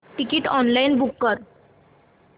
ticket online book कर